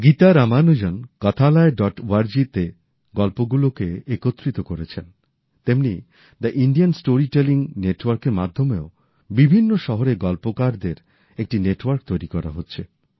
Gita Ramanujan Kathalaya dot ওআরজিতে গল্পগুলোকে একত্রিত করেছেন তেমনি দ্য ইন্ডিয়ান স্টোরি টেলিং নেটওয়ার্কের মাধ্যমেও বিভিন্ন শহরের গল্পকারদের একটি নেটওয়ার্ক তৈরি করা হচ্ছে